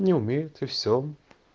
не умеют и все